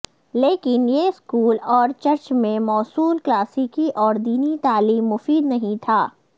لیکن یہ اسکول اور چرچ میں موصول کلاسیکی اور دینی تعلیم مفید نہیں تھا